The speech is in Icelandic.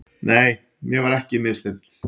Nei, mér var ekki misþyrmt.